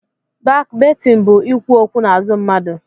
Bakbaitịn bụ ikwu okwu n'azụ mmadụ